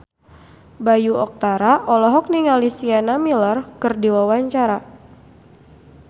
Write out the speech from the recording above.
Bayu Octara olohok ningali Sienna Miller keur diwawancara